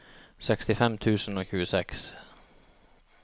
sekstifem tusen og tjueseks